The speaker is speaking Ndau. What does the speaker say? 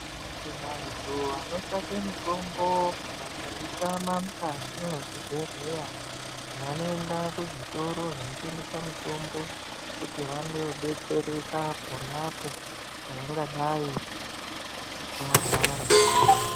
Vantu vanotsvake mitombo vakayitama mukati mwezvibhedhleya, vanoenda kuzvitoro zvinotengesa mitombo kuti vandodetsereka ponapo pavangadayi varwara.